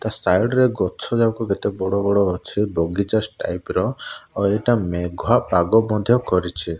ତା ସାଇଡ଼ ରେ ଗଛ ଯାଙ୍କ କେତେ ବଡ଼ ବଡ଼ ଅଛି ବଗିଚା ଷ୍ଟାଇପ୍ ର ଆଉ ଏଇଟା ମେଘୁଆ ପାଗ ମଧ୍ୟ କରିଛି।